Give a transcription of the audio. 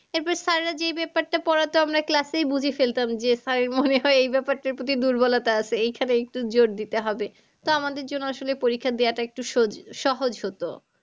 এবার sir রেরা যে ব্যাপারটা পড়াতো আমরা class এই বুঝে ফেলতাম যে sir মনে হয় এই ব্যাপারটার প্রতি দুর্বলতা আছে এইখানে একটু জোর দিতে হবে। তা আমাদের জন্য আসলে পরিক্ষা দেওয়াটা একটু সহজ হতো।